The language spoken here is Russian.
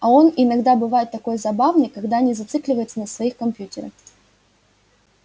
а он иногда бывает такой забавный когда не зацикливается на своих компьютерах